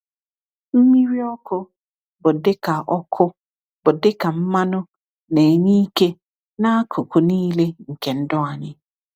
Mmiri ọkụ bụ dịka ọkụ bụ dịka mmanụ na-enye ike n’akụkụ niile nke ndụ anyị.